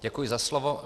Děkuji za slovo.